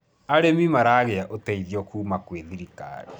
arĩmi maragia uteithio kuuma kwi thirikari